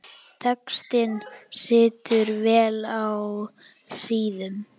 Textinn situr vel á síðum.